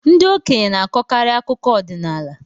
Ndị okenye na-akọkarị akụkọ ọdịnaala.